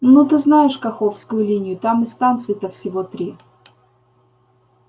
ну ты знаешь каховскую линию там и станций-то всего три